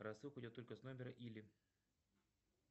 рассылка идет только с номера или